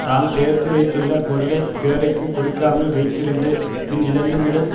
தாம் சேர்த்து வைத்துள்ள பொருளை பிறருக்குக் கொடுக்காமல் வைத்திருந்து பின் இழந்து விடும்